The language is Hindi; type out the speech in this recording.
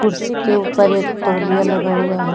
कुर्सी के ऊपर एक तौलिया लगा हुआ है।